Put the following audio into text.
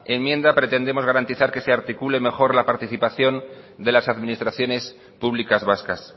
enmienda pretendemos garantizar que se articule mejor la participación de las administraciones públicas vascas